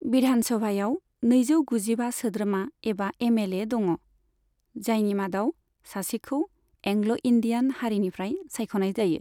बिधानसभायाव नैजौ गुजिबा सोद्रोमा एबा एमएलए दङ, जायनि मादाव सासेखौ एंग्ल' इन्दियान हारिनिफ्राय सायख'नाय जायो।